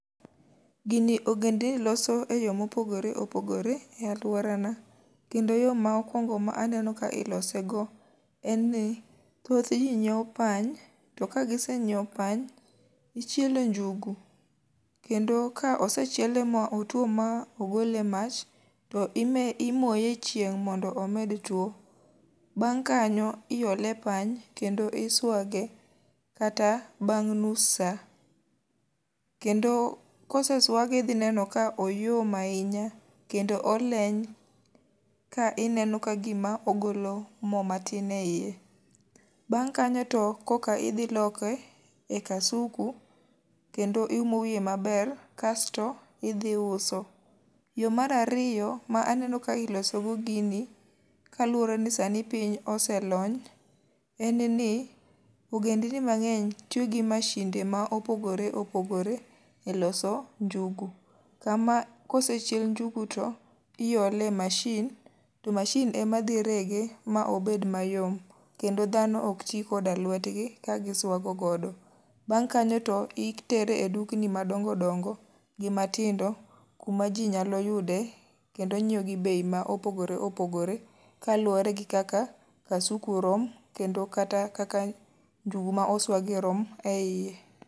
Gini ogendni loso e yo mopogore opogore e alworana. Kendo yo ma okwongo ma aneno ka ilose go en ni thoth ji nyiewo pany, to ka gisenyiewo pany, ichiele njugu. Kendo ka osechiele ma otuo ma ogole e mach, to ime imoye e chieng' mondo omed tuo. Bang' kanyo, iole e pany kendo iswage kata bang' nus sa. Kendo koseswage idhi neno ka oyom ahinya kendo oleny ka ineno ka gima ogolo mo matin e iye. Bang' kanyo to koka idhi loke e kasuku kendo iumo wiye maber kasto idhi uso. Yo marariyo ma aneno ka ilosogo gini, kaluwore ni sani piny ose lony. En ni ogendni mang'eny tiyo gi mashinde ma opogore opogore e loso njugu. Kama kosechiel njugu to iole e mashin, to mashin ema dhi rege ma obed mayom. Kendo dhano ok ti koda lwetgi ka giswago godo. Bang' kanyo to itere e dukni madongo dongo gi matindo, kuma ji nyalo yude kendo nyiewo gi bei ma opogore opogore. Ka luwore gi kaka kasuku rom, kendo kata kaka njugu ma oswagi rom e iye.